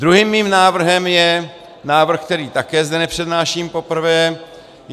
Druhým mým návrhem je návrh, který zde také nepřednáším poprvé.